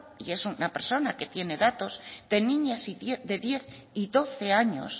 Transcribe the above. y es una persona que tiene datos de niñas de diez y doce años